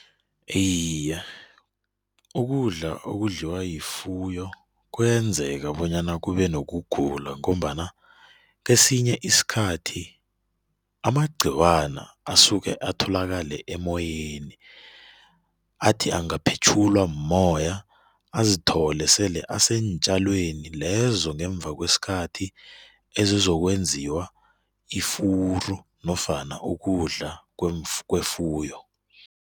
Iye, ukudla okudliwa yifuyo kuyenzeka bonyana kube nokugula ngombana kesinye isikhathi amagciwana asuke atholakale emoyeni, athi angaphetjhulwa mmoya azithole sele aseentjalweni lezo ngemva kwesikhathi ezizokwenziwa ifuru nofana ukudla kwefuyo.